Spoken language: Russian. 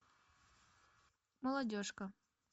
молодежка